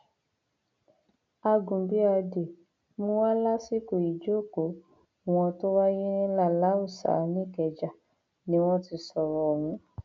àgùnbíàdé mú wa lásìkò ìjókòó wọn tó wáyé ní laláùsà nìkẹjà ni wọn ti sọrọ ọhún